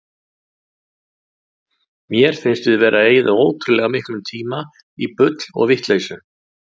Mér finnst við vera að eyða ótrúlega miklum tíma í bull og vitleysu.